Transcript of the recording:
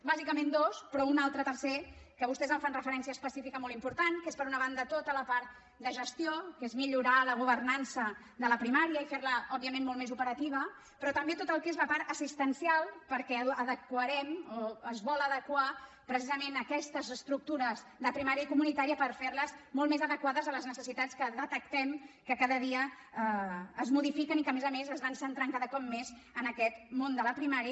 bàsicament dos però un altre tercer que vostès en fan referència específica molt important que és per una banda tota la part de gestió que és millorar la governança de la primària i fer la òbviament molt més operativa però també tot el que és la part assistencial perquè adequarem o es volen adequar precisament aquestes estructures de primària i comunitària per fer les molt més adequades a les necessitats que detectem que cada dia es modifiquen i que a més a més es van centrant cada cop més en aquest món de la primària